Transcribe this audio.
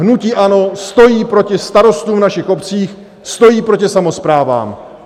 Hnutí ANO stojí proti starostům v našich obcích, stojí proti samosprávám.